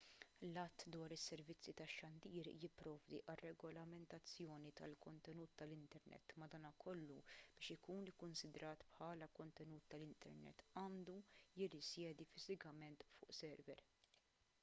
l-att dwar is-servizzi tax-xandir jipprovdi għar-regolamentazzjoni tal-kontenut tal-internet madankollu biex ikun ikkunsidrat bħala kontenut tal-internet għandu jirrisjedi fiżikament fuq server